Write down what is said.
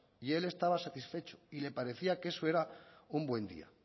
y él estaba satisfecho y le parecía que eso era un buen día